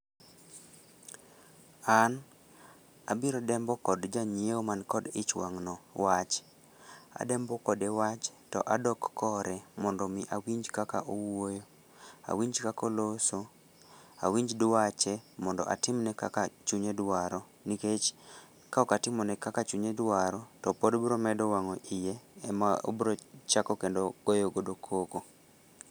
An abiro dembo kod janyiewo man kod ich wang' no wach. Adembo kode wach, to adok kore mondo omi awinj kaka owuoyo. Awinj kaka oloso, awinj dwache mondo atimne kaka chunye dwaro, nikech ka ok atimo ne kaka chunye dwaro, to pod biro medo wangó iye ema obiro chako kendo goyo godo koko.